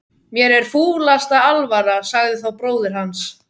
Mér er fúlasta alvara, sagði þá bróðir hans.